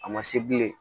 A ma se bilen